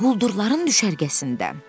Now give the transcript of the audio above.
Quldurların düşərgəsində.